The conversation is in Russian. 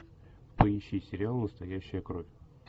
поищи сериал настоящая кровь